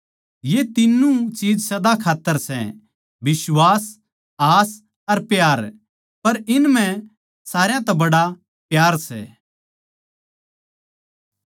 ये तिन्नु चीज सदा खात्तर सै बिश्वास आस अर प्यार पर इन म्ह सारया तै बड्ड़ा प्यार सै